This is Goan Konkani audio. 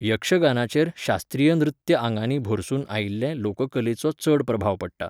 यक्षगानाचेर शास्त्रीय नृत्य आंगांनी भरसून आयिल्ले लोककलेचो चड प्रभाव पडटा.